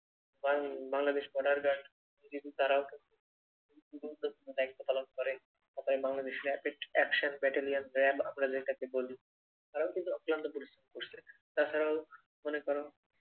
বাং Bangladesh border guard কিন্তু তারাও তো গুরুত্বপূর্ন দায়িত্ব পালন করে। তারপর Bangladesh Rapid Action BattalionRAB আমরা যেটাকে বলি তারাও কিন্তু অক্লান্ত পরিশ্রম করছে। তাছাড়াও মনে করো